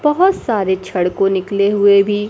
बहोत सारे छड़ को निकले हुए भी--